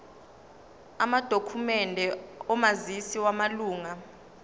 amadokhumende omazisi wamalunga